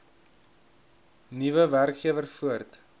nuwe werkgewer voort